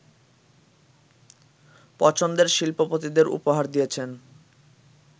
পছন্দের শিল্পপতিদের উপহার দিয়েছেন